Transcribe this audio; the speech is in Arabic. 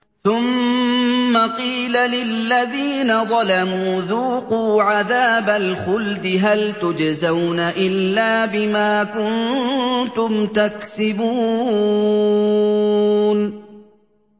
ثُمَّ قِيلَ لِلَّذِينَ ظَلَمُوا ذُوقُوا عَذَابَ الْخُلْدِ هَلْ تُجْزَوْنَ إِلَّا بِمَا كُنتُمْ تَكْسِبُونَ